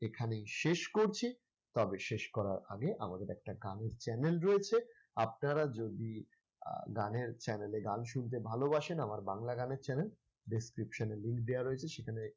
এখানেই শেষ করছি তবে শেষ করার আগে আমাদের একটা গানের channel রয়েছে আপনারা যদি আহ গানের channel এ গান শুনতে ভালোবাসেন আমার বাংলা গানের channel description এ link দেওয়া রয়েছে সেখানে